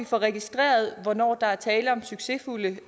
får registreret hvornår der er tale om succesfulde